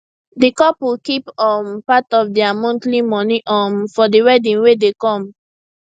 the couple keep big um part of their monthly moni um for the wedding wey dey come